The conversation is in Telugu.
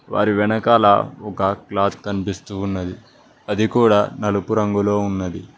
వారి వెనకాల ఒక గ్లాస్ కనిపిస్తూ ఉన్నది అది కూడా నలుపు రంగులో ఉన్నది.